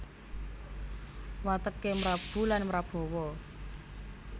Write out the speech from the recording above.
Wateké mrabu lan mrabawa